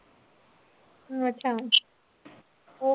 ਅੱਛਾ ਉਹ